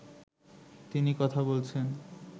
তিনি কথা বলছেন